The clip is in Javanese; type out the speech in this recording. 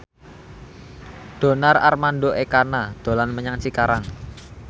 Donar Armando Ekana dolan menyang Cikarang